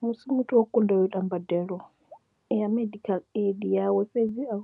Musi muthu o kundelwa u ita mbadelo ya medical aid yawe fhedzi a